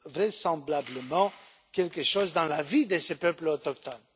vraisemblablement quelque chose dans la vie de ces peuples autochtones.